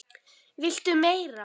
VILTU MEIRA?